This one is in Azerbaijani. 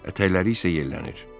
Ətəkləri isə yelənir.